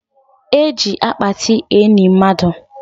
E ji akpati eni mmadụ